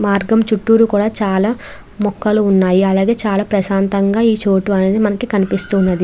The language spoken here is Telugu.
మార్గం చూతుర కూడా చాల మోకాళ్ళు వున్నాయ్ అలాగే చాల ప్రసంతగా ఈ చోటు అనేది కనిపిస్తుంది.